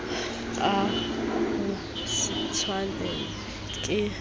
a ho se tshwanelwe ke